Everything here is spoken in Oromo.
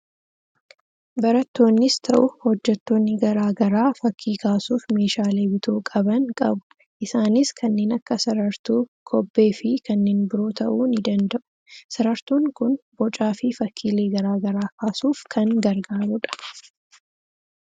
Barattoonnis ta'u, hojjettoonni garaagaraa fakkii kaasuuf meeshaalee bituu qaban qabu. Isaanis kanneen akka sarartuu kobbee fi kanneen biroo ta'uu ni danda'u. Sarartuun kun bocaa fi fakkiilee garaa garaa kaasuuf kan gargaarudha.